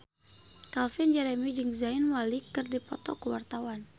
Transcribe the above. Calvin Jeremy jeung Zayn Malik keur dipoto ku wartawan